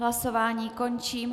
Hlasování končím.